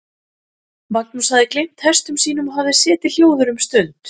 Magnús hafði gleymt hestum sínum og hafði setið hljóður um stund.